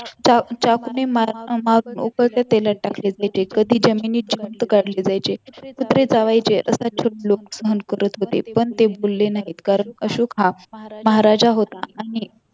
चाकुने मार मारून उकळत्या तेलात टाकले जायचे कधी जमिनीत जिवंत गाडले जायचे कधी कुत्रे चावायचे असा छळ लोक सहन करत होते पण ते बोलले नाहीत कारण अशोक हा महाराजा होता आणि